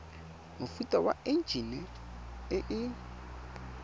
mofuta wa enjine e e